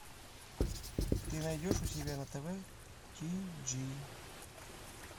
ты найдешь у себя на тв ти джи